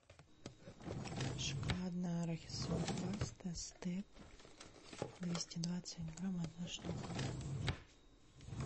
шоколадно арахисовая паста степ двести двадцать грамм одна штука